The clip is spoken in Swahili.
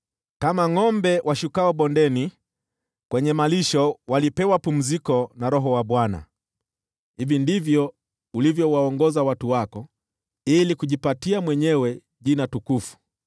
kama ngʼombe washukao bondeni kwenye malisho, walipewa pumziko na Roho wa Bwana . Hivi ndivyo ulivyowaongoza watu wako ili kujipatia mwenyewe jina tukufu.